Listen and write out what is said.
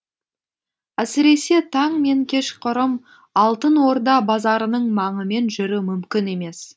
әсіресе таң мен кешқұрым алтын орда базарының маңымен жүру мүмкін емес